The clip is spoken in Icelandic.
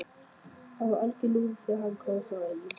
Hann var alger lúði þegar hann kom frá Eyjum.